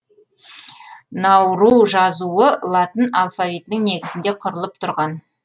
науру жазуы латын алфавитінің негізінде құрылып тұрған